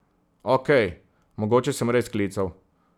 Okej, mogoče sem res klical.